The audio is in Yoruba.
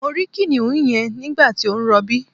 Mo rí kìnìún yẹn nígbàtí ó ń rọbí